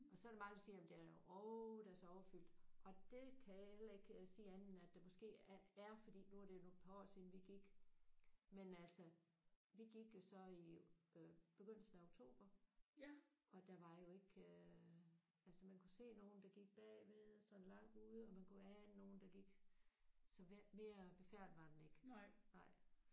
Og så er der mange der siger at jamen den er åh den er så overfyldt! Og det kan jeg heller ikke sige andet end det måske er fordi at nu er det nogle par år siden vi gik. Men altså vi gik jo så i øh begyndelsen af oktober og der var jo ikke øh altså man kunne se nogen der gik bagved sådan langt ude og man kunne ane nogen der gik. Så så mere befærdet var den ikke